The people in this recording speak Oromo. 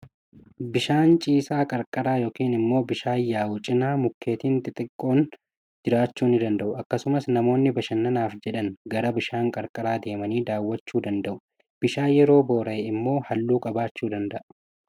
Bishaan ciisaa qarqara yookiin immoo bishaan yaa'u cinaa, mukeettiin xixinnoon jiraachuu ni danda'u. Akkasumas namoonni bashannanaaf jedhanii gara bishaan qarqara deemanii daawwachuu jo danda'u. Bishaan yeroo boora'e immoo halluu qabaachuu danda'a.